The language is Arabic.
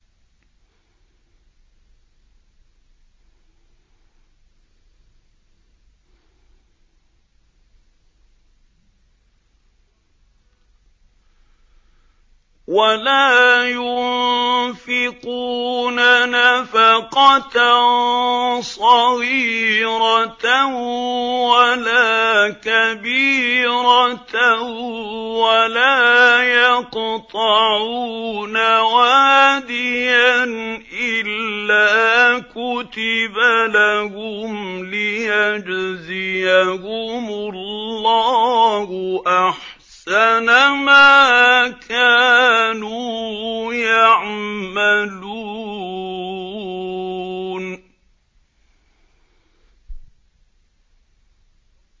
وَلَا يُنفِقُونَ نَفَقَةً صَغِيرَةً وَلَا كَبِيرَةً وَلَا يَقْطَعُونَ وَادِيًا إِلَّا كُتِبَ لَهُمْ لِيَجْزِيَهُمُ اللَّهُ أَحْسَنَ مَا كَانُوا يَعْمَلُونَ